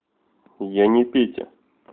я не петя